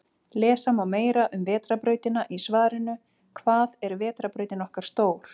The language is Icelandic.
Lesa má meira um Vetrarbrautina í svarinu Hvað er vetrarbrautin okkar stór?